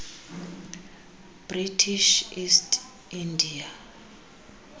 british east india